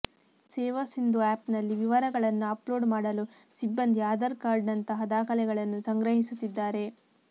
ಸೇವಾ ಸಿಂಧು ಆ್ಯಪ್ನಲ್ಲಿ ವಿವರಗಳನ್ನು ಅಪ್ಲೋಡ್ ಮಾಡಲು ಸಿಬ್ಬಂದಿ ಆಧಾರ್ ಕಾರ್ಡ್ನಂತಹ ದಾಖಲೆಗಳನ್ನು ಸಂಗ್ರಹಿಸುತ್ತಿದ್ದಾರೆ